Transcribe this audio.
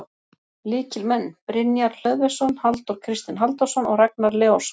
Lykilmenn: Brynjar Hlöðversson, Halldór Kristinn Halldórsson og Ragnar Leósson.